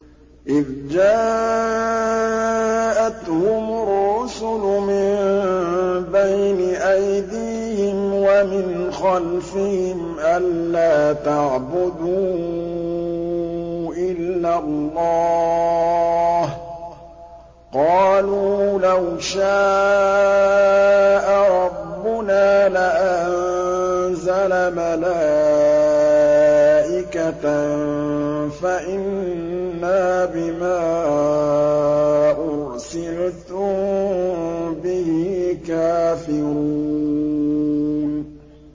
إِذْ جَاءَتْهُمُ الرُّسُلُ مِن بَيْنِ أَيْدِيهِمْ وَمِنْ خَلْفِهِمْ أَلَّا تَعْبُدُوا إِلَّا اللَّهَ ۖ قَالُوا لَوْ شَاءَ رَبُّنَا لَأَنزَلَ مَلَائِكَةً فَإِنَّا بِمَا أُرْسِلْتُم بِهِ كَافِرُونَ